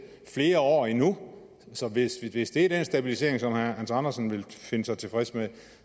flere år endnu så hvis hvis det er den stabilisering som herre hans andersen vil stille sig tilfreds med